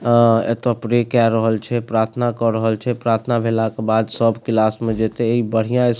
अ एता प्रे केय रहल छै प्रार्थना क रहल छै प्रार्थना भेला के बाद सब क्लास में जेतेे इ बढ़िया स्कू --